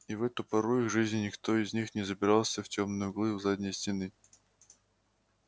и в эту пору их жизни никто из них не забирался в тёмные углы у задней стены